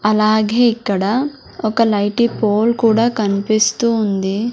అలాగే ఇక్కడ ఒక లైటీ పోల్ కూడా కన్పిస్తూ ఉంది.